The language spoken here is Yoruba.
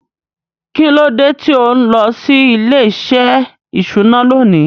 Kín ló dé tí ò ń lọ sí ilé-iṣẹ́ ìṣúná lónìí?